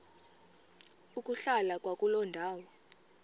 ukuhlala kwakuloo ndawo